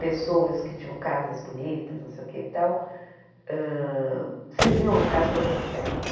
Pessoas que tinham casas bonitas, não sei o que e tal, hã cediam a casa para fazer festa.